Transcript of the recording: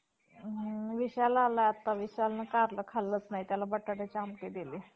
कच्छ व कासवांपासून जन्माला म्हणून भागवत वैगेरे इतिहास~ इतिहास कर्त्यांनी ग्रंथात लिहून ठेवले आहे.